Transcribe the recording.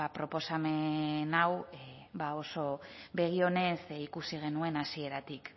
proposamen hau ba oso begi onez ikusi genuen hasieratik